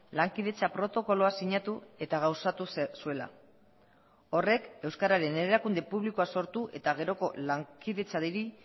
lankidetza protokoloa sinatu eta gauzatu zuela horrek euskararen erakunde publikoa sortu eta geroko lankidetzari